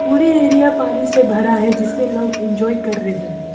पूरे एरिया पानी से भरा है जिसपे लोग इंजॉय कर रहे हैं।